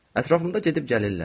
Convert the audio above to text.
Ətrafımda gedib gəlirlər.